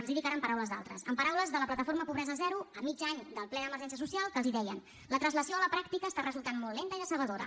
els hi dic ara amb paraules d’altres amb paraules de la plataforma pobresa zero a mig any del ple d’emergència social que els deien la translació a la pràctica està resultant molt lenta i decebedora